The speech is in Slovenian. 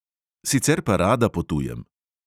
Sicer pa rada potujem.